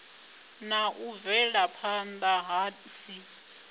na u bvelaphanda hu si